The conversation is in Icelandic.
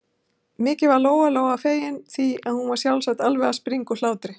Mikið var Lóa-Lóa fegin, því að hún var sjálf alveg að springa úr hlátri.